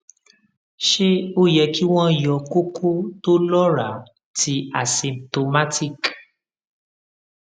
ṣe o yẹ ki wọ́n yọ kókó to lọra ti asymptomatic